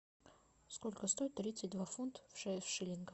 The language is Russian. сколько стоит тридцать два фунта в шиллингах